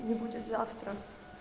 не будет завтра